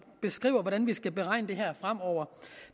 beskriver hvordan vi skal beregne det her fremover